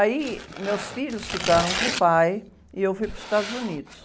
Aí, meus filhos ficaram com o pai e eu fui para os Estados Unidos.